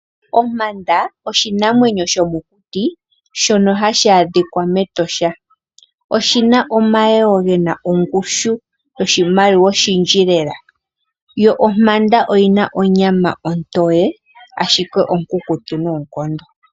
Ompanda oshinamwenyo shomokuti, shoka hashi adhika mEtosha, oshina omayego gena ongushu yoshimaliwa oshindji lela, yo ompanda oyinaa onyama ontowe, ashike onkutu noonkondo.